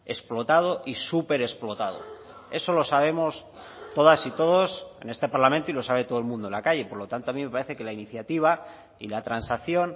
explotado y súper explotado eso lo sabemos todas y todos en este parlamento y lo sabe todo el mundo en la calle por lo tanto a mí me parece que la iniciativa y la transacción